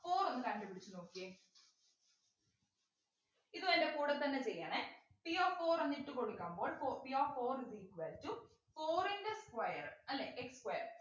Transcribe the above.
four ഒന്ന് കണ്ടുപിടിച്ചു നോക്കിയേ ഇതു എന്റെ കൂടെത്തന്നെ ചെയ്യണേ p of four എന്നിട്ടു കൊടുക്കുമ്പോൾ for p of four is equal to four ൻ്റെ square അല്ലെ x square